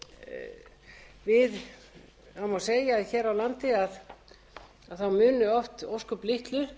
vöru það má segja að hér á landi muni oft ósköp litlu